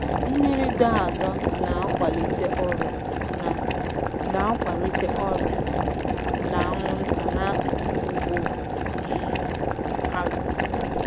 Mmiri dọ adọ na-akwalite ọrịa na na-akwalite ọrịa na anwụnta n'akụkụ ugbo um azụ.